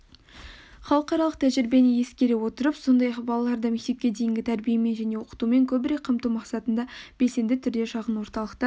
халықаралық тәжірибені ескере отырып сондай-ақ балаларды мектепке дейінгі тәрбиемен және оқытумен көбірек қамту мақсатында белсенді түрде шағын орталықтар